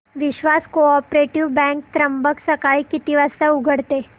विश्वास cooperative bank Trimbak सकाळी किती वाजता उघडते